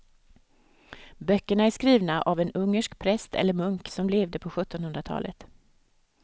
Böckerna är skrivna av en ungersk präst eller munk som levde på sjuttonhundratalet.